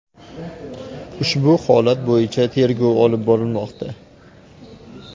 Ushbu holat bo‘yicha tergov olib borilmoqda.